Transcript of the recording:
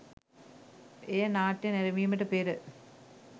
එය නාට්‍ය නැරඹීමට පෙර